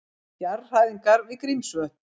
Jarðhræringar við Grímsvötn